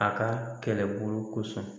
A ka kɛlɛbolo kosɔn.